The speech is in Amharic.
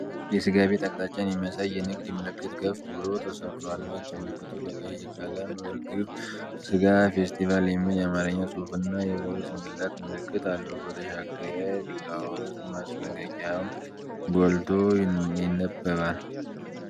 የሥጋ ቤት አቅጣጫን የሚያሳይ የንግድ ምልክት ከፍ ብሎ ተሰቅሏል። ነጭ ምልክቱ በቀይ ቀለም "እርግብ ስጋ ፌስቲቫል" የሚል የአማርኛ ጽሑፍና የበሬ ጭንቅላት ምልክት አለው። በተሻገረ ቢላዋዎች ማስጠንቀቂያም ጎልቶ ይነበባል።